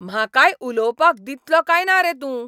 म्हाकाय उलोवपाक दितलो काय ना रे तूं?